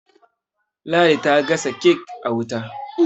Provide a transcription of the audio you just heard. ladi ta gasa kek a wuta